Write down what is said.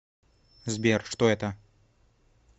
сбер что это